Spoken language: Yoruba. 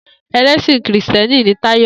Elèsin kìristíèni ni Tayo